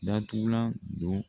Datugulan don.